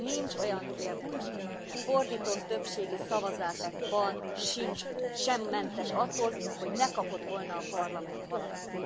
Nincs olyan kérdés, a fordított többségi szavazásban sem mentes attól, hogy ne kapott volna a Parlament valamit.